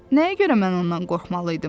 Nəyə görə mən ondan qorxmalıydım?